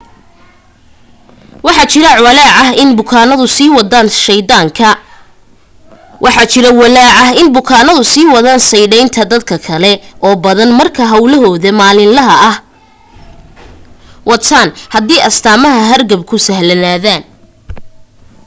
waxa jira walaac ah in bukaanadu sii wadan sadhaynta dad kale oo badan marka hawlahooda maalinlaha ah wataan hadii astaamaha hargabku sahlanaadaan